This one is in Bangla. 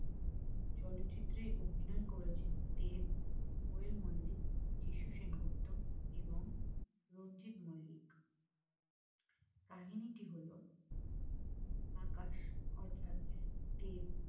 চলচ্চিত্রে অভিনয় করেছে দেব কোয়েল মল্লিক যীশু সেনগুপ্ত এবং রঞ্জিত মল্লিক কাহিনীটি হল আকাশ অর্থাৎ দেব